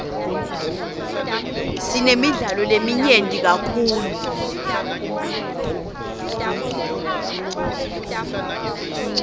sinemidlalo leminyenti kakhulu